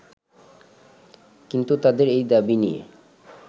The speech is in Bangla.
কিন্তু তাদের এই দাবি নিয়ে